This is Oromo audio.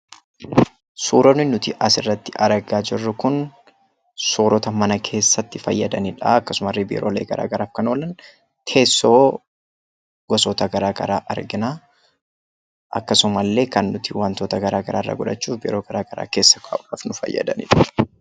Suuraa kanaa gadii irratti kan argamu Kun meeshaalee mana keessatti itti fayyadamnuu innis teessoo dha. Teessoon kunis wantoota addaa addaa kan nuti arginuu dha.